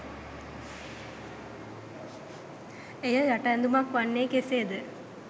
එය යට ඇඳුමක් වන්නේ කෙසේද?